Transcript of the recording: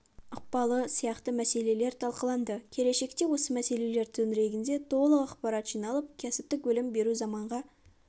ықпалы сияқты мәселелер талқыланды келешекте осы мәселелер төңірегінде толық ақпарат жиналып кәсіптік білім беру заманға